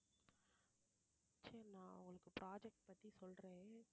சரி நான் உங்களுக்கு project பத்தி சொல்றேன்